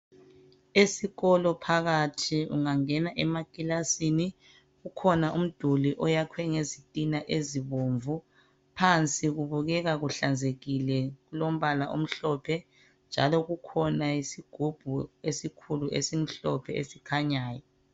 Esikolo phakathi ungangena emakilasini ungangena phakathi kukhona umduli oyakhiwe ngezitina ezibomvu .Phansi kubukeka kuhlanzekile kuulombola omhlophe. Njalo kukhona isigubhu esilombala omhlophe esikhanyayo .